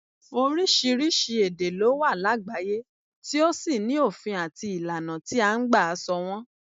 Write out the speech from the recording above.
Oríṣiríṣi èdè ló wà lágbàáyé tí ó sì ní òfin àti ìlànà tí à ń gbà sọ wọn